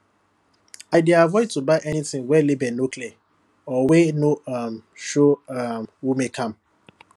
i dey avoid to buy anything wey label no clear or wey no um show um who make am